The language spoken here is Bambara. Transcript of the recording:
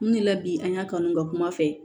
Mun de la bi an y'a kanu ka kuma fɛ